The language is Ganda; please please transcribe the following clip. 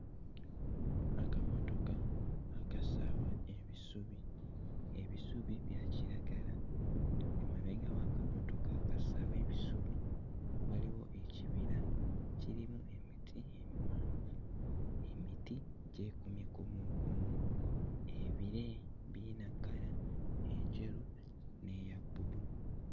Akamotoka akasaawa ebisubi. Ebisubi bya kiragala. Emabega w'akamotoka akasaawa ebisubi waliwo ekibira kirimu emiti emiwanvu. Emiti gyekumye kumuukumu. Ebire birina kkala enjeru n'eya bbulu.